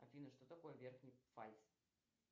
афина что такое верхний пфальц